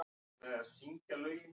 Tók ekki mark á því.